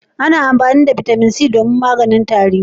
Ana amfani da Bitamin C domin maganin tari.